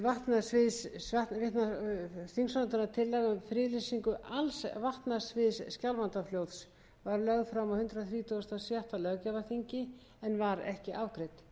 um friðlýsingu alls vatnasviðs skjálfandafljóts var lögð fram á hundrað þrítugasta og sjötta löggjafarþingi en var ekki afgreidd tillagan er nú endurflutt og löguð að nokkrum athugasemdum sem fram komu í